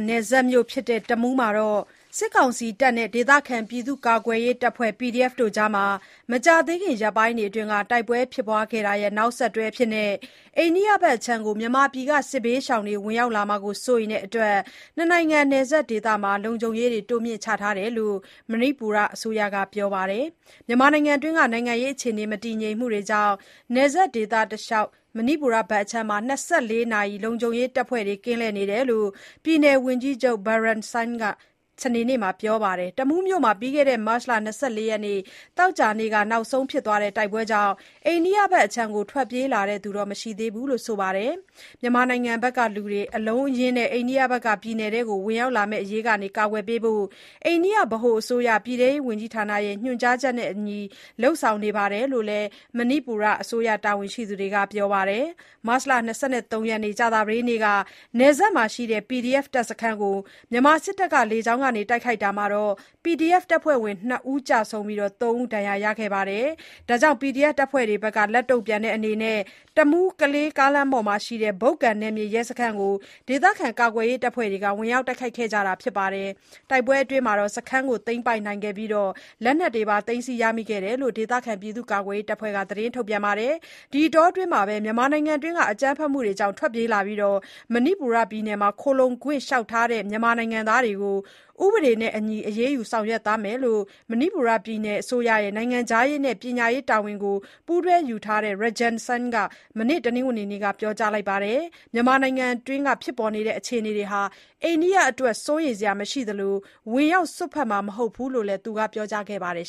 နယ်စပ်မြို့ဖြစ်တဲ့ တမူးမှာ စစ်ကောင်စီတပ်တွေနဲ့ ဒေသခံပြည့်သူ့ကာကွယ်ရေးတပ်ဖွဲ့ PDF တွေအကြား မကြာသေးခင် ရက်ပိုင်းအတွင်းက တိုက်ပွဲဖြစ်ပွားခဲ့တာရဲ့ နောက်ဆက်တွဲအဖြစ် အိန္ဒိယဘက်အခြမ်းကို မြန်မာပြည်က စစ်ဘေးရှောင်တွေ ဝင်ရောက်လာမှာ စိုးရိမ်တဲ့အတွက် နှစ်နိုင်ငံ နယ်စပ်ဒေသမှာ လုံခြုံရေးတွေ တိုးမြင့်ချထားတယ်လို့ မဏိပူရအစိုးရက ပြောပါတယ်။ မြန်မာနိုင်ငံအတွင်းက နိုင်ငံရေးအခြေအနေ မတည်ငြိမ်မှုတွေကြောင့် နယ်စပ်ဒေသတလျှောက် မဏိပူရဘက်အခြမ်းမှာ ၂၄ နာရီ လုံခြုံရေးတပ်ဖွဲ့တွေ ကင်းလှည့်နေတယ်လို့ ပြည်နယ်ဝန်ကြီးချုပ် N. Biren Singh က စနေနေ့မှာ ပြောပါတယ်။ တမူမြို့မှာ ပြီးခဲ့တဲ့ မတ်လ ၂၄ ရက်၊ သောကြာနေ့က နောက်ဆုံးဖြစ်သွားတဲ့ တိုက်ပွဲကြောင့် အိန္ဒိယဘက်အခြမ်းကို ထွက်ပြေးလာသူတော့ မရှိသေးဘူးလို့ ဆိုပါတယ်။ မြန်မာနိုင်ငံဘက်ကလူတွေ အလုံးအရင်းနဲ့ ပြည်နယ်အတွင်း ဝင်ရောက်လာမယ့်အရေးက ကာကွယ်ပေးဖို့ အိန္ဒိယဗဟိုအစိုးရ ပြည်ထဲရေးဝန်ကြီးဌာနရဲ့ ညွန်ကြားချက်နဲ့အညီ လုပ်ဆောင်နေတယ်လို့လည်း မဏိပူရအစိုးရ တာဝန်ရှိသူတွေက ပြောပါတယ်။ မတ်လ ၂၃ ရက်၊ ကြာသပတေးနေ့က နယ်စပ်မှာရှိတဲ့ PDF စခန်းကို မြန်မာစစ်တပ်က လေကြောင်းကနေ တိုက်ခိုက်တာမှာ PDF တပ်ဖွဲ့ဝင် ၂ ကျဆုံးပြီး ၃ ဦး ဒဏ်ရာရခဲ့ပြီးတဲ့နောက် PDF တပ်ဖွဲ့တွေဘက်က လက်တုန့်ပြန်တဲ့အနေနဲ့ တမူး-ကလေး ကားလမ်းမှာရှိတဲ့ ဘုတ်ကန် နယ်မြေရဲစခန်းကို ဒေသခံကာကွယ်ရေးတပ်ဖွဲ့တွေက ဝင်ရောက်တိုက်ခိုက်ခဲ့ကြတာပါ။ တိုက်ပွဲအတွင်း စခန်းကို သိမ်းပိုက်နိုင်ခဲ့ပြီး လက်နက်တွေပါ သိမ်းဆည်းရမိခဲ့တယ်လို့ ဒေသကာကွယ်ရေးတပ်ဖွဲ့က သတင်းထုတ်ပြန်ခဲ့ပါတယ်။ ဒီအတောအတွင်း မြန်မာနိုင်ငံအတွင်း အကြမ်းဖက်မှုတွေကြောင့် ထွက်ပြေးလာပြီး မဏိပူရပြည်နယ်မှာ ခိုလှုံခွင့် လျှောက်ထားသူ မြန်မာနိုင်ငံသားတွေကို ဥပဒေနဲ့အညီ အရေးယူ ဆောင်ရွက်သွားမယ်လို့ မဏိပူပြည်နယ်အစိုးရရဲ့ နိုင်ငံခြားရေးနဲ့ ပညာရေးဝန်ကြီးတာဝန်ကို ပူးတွဲယူထားသူ Rajan Singh က မနေ့ တနင်္ဂနွေနေ့က ပြောကြားလိုက်ပါတယ်။ မြန်မာနိုင်ငံအတွင်း ဖြစ်ပေါ်နေတဲ့အခြေအနေတွေဟာ အိန္ဒိယအတွက် စိုးရိမ်စရာမရှိသလို ဝင်ရောက် စွက်ဖက်မှာ မဟုတ်ဘူးလို့လည်း သူက ပြောကြားခဲ့ပါတယ်